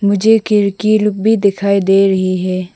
मुझे खिड़की लूप भी दिखाई दे रही है।